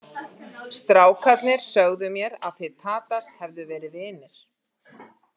Strákarnir sögðu mér að þið Tadas hefðu verið vinir.